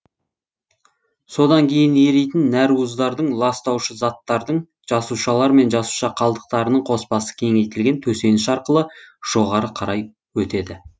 содан кейін еритін нәруыздардың ластаушы заттардың жасушалар мен жасуша қалдықтарының қоспасы кеңейтілген төсеніш арқылы жоғары қарай өтеді